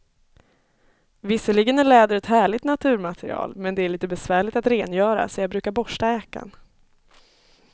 Visserligen är läder ett härligt naturmaterial, men det är lite besvärligt att rengöra, så jag brukar borsta jackan.